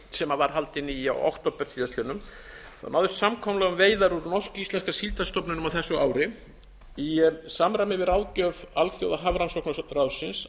sem var haldinn í október síðastliðnum náðist samkomulag um veiðar úr norsk íslenska síldarstofninum á þessu ári í samræmi við ráðgjöf alþjóðahafrannsóknaráðsins